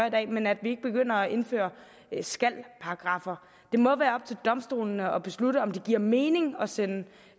i dag men at vi ikke begynder at indføre skal paragraffer det må være op til domstolene at beslutte om det giver mening at sende